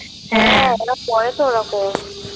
হ্যাঁ ওরা করে তো এরকম